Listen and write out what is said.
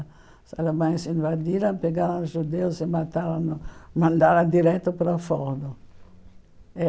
Os alemães invadiram, pegaram os judeus e mandaram mandaram direto para a Forno.